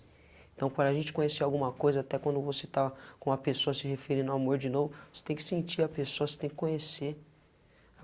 Então para a gente conhecer alguma coisa até quando você está com uma pessoa se referindo no amor de novo, você tem que sentir a pessoa, você tem que conhecer.